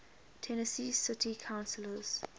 tennessee city councillors